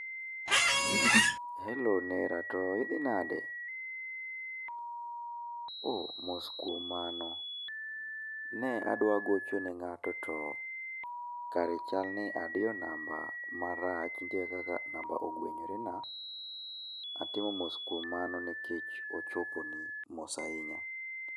Helo Nera, to idhi nade ? Oh, mos kuom mano. Ne adwa gocho ne ng'ato to kare chalni adiyo namba marach, nitie kaka namba ogwenyorena. Atimo mos kuom mano nikech ochoponi. Mos ahinya.